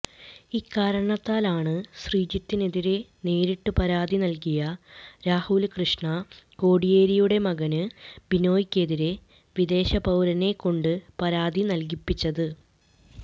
ഇക്കാരണത്താലാണ് ശ്രീജിത്തിനെതിരെ നേരിട്ട് പരാതി നല്കിയ രാഹുല് കൃഷ്ണ കോടിയേരിയുടെ മകന് ബിനോയിക്കെതിരെ വിദേശ പൌരനെ കൊണ്ട് പരാതി നല്കിപ്പിച്ചത്